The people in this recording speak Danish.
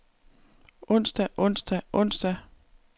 onsdag onsdag onsdag